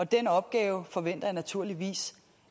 den opgave forventer jeg naturligvis